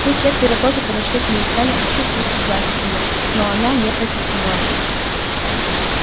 те четверо тоже подошли к ней стали ощупывать и гладить её но она не протестовала